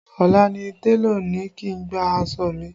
Ọ̀la ni télọ̀ ni kí n gba aṣọ mi